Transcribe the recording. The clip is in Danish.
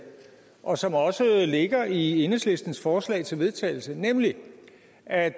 og som også ligger i enhedslistens forslag til vedtagelse nemlig at